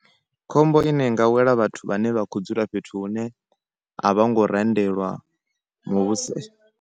Khombo ine i nga wela vhathu vhane vha kho dzula fhethu hune a vha ngo randelwa muvhuso .